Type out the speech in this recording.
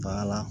Ba la